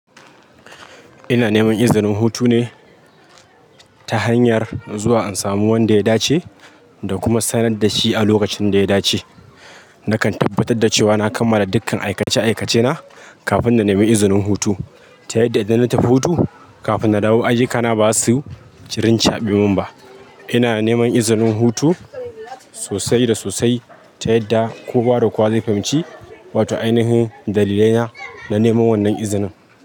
Ina neman izinin hutu ne ta hanyar zuwa in samu wanda ya dace da kuma sanar da shi a lokacin da ya dace. Nakan tabbatar da cewa na kammala dukkan aikace-aikacena kafin na nemi izinin hutu, ta yadda idan na tafi hutu, kafin na dawo, ayyukana ba za su rincaɓemin ba. Ina neman izinin hutu sosai da sosai ta yadda kowa da kowa zai fahimci, wato ainihin dalilaina na neman wannan izinin.